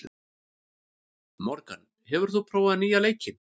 Morgan, hefur þú prófað nýja leikinn?